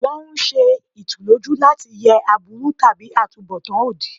Wọ́n ń ṣe ìtùlójú láti yẹ aburú tàbí àtunbọ̀tán òdì.